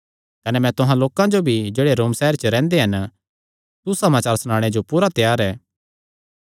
कने मैं तुहां लोकां जो भी जेह्ड़े रोम सैहरे च रैंह्दे हन सुसमाचार सनाणे जो पूरा त्यार ऐ